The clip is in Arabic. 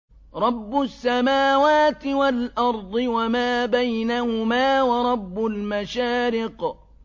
رَّبُّ السَّمَاوَاتِ وَالْأَرْضِ وَمَا بَيْنَهُمَا وَرَبُّ الْمَشَارِقِ